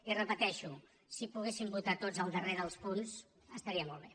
i ho repeteixo si poguessin votar tots el darrer dels punts estaria molt bé